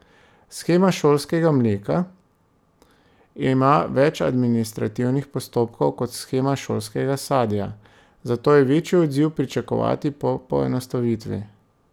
Shema šolskega mleka ima več administrativnih postopkov kot shema šolskega sadja, zato je večji odziv pričakovati po poenostavitvi.